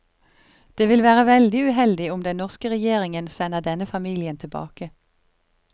Det vil være veldig uheldig om den norske regjeringen sender denne familien tilbake.